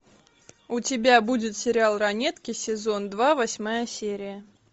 у тебя будет сериал ранетки сезон два восьмая серия